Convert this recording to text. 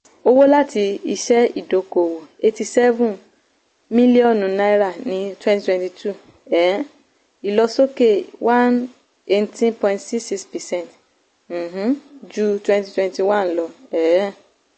owó láti iṣẹ́ ìdókòwò eighty seven míllíọ̀nù ní twenty twenty two um ìlọsókè one eighteen point six six percent um ju twenty twenty one lọ. um